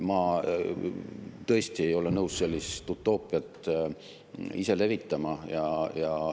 Ma tõesti ei ole nõus utoopiat levitama.